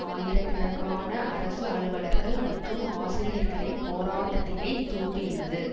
ஆயிரக்கணக்கான அரசு அலுவலர்கள் மற்றும் ஆசிரியர்களின் போராட்டத்தினைத் தூண்டியுள்ளது